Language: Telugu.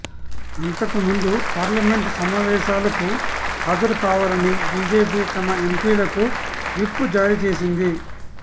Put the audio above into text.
అంతకుముందు పార్టమెంటు సమావేశాలకు హాజరుకావాలని బీజేపీ తమ ఎంపీలకు విప్ జారీచేసింది